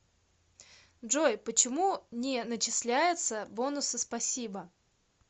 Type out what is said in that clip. джой почему не начисляется бонусы спасибо